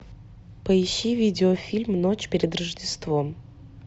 поищи видеофильм ночь перед рождеством